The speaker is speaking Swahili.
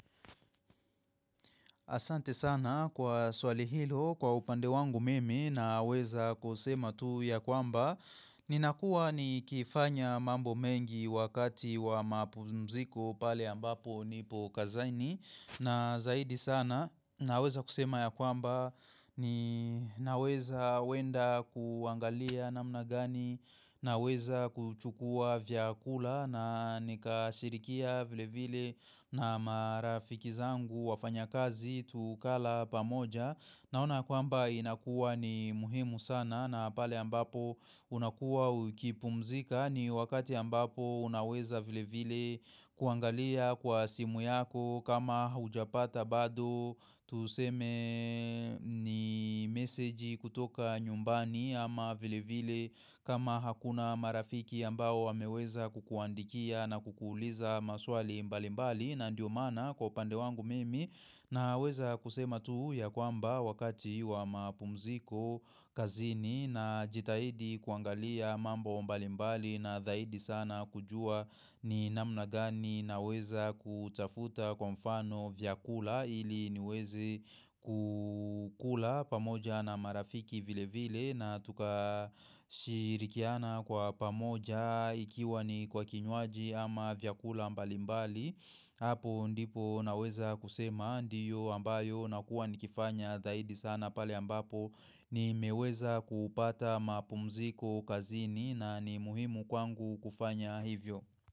Asante sana kwa swali hilo, kwa upande wangu mimi naweza kusema tu ya kwamba. Ninakua nikifanya mambo mengi wakati wa mapumziko pale ambapo nipo kazini. Na zaidi sana naweza kusema ya kwamba ni naweza wenda kuangalia namna gani. Naweza kuchukua vyakula na nikashirikia vile vile na marafiki zangu wafanyakazi tukala pamoja Naona kwamba inakuwa ni muhimu sana na pale ambapo unakuwa ukipumzika ni wakati ambapo unaweza vile vile kuangalia kwa simu yako kama haujapata bado Tuseme ni meseji kutoka nyumbani ama vile vile kama hakuna marafiki ambao wameweza kukuandikia na kukuuliza maswali mbali mbali na ndio maana kwa upande wangu mimi Naweza kusema tu ya kwamba wakati wa mapumziko kazini najitahidi kuangalia mambo mbalimbali na dhaidi sana kujua ni namna gani naweza kutafuta kwa mfano vyakula ili niwezi kukula pamoja na marafiki vile vile na tukashirikiana kwa pamoja ikiwa ni kwa kinywaji ama vyakula mbalimbali. Hapo ndipo naweza kusema ndiyo ambayo nakuwa nikifanya zahidi sana pale ambapo nimeweza kuupata mapumziko kazini na ni muhimu kwangu kufanya hivyo.